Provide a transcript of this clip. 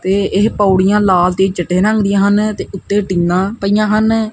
ਤੇ ਇਹ ਪੌੜੀਆਂ ਲਾਲ ਤੇ ਚਿੱਟੇ ਰੰਗ ਦੀਆਂ ਹਨ ਤੇ ਉੱਤੇ ਟੀਨਾ ਪਈਆਂ ਹਨ।